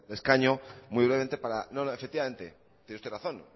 de escaño muy brevemente efectivamente tiene usted razón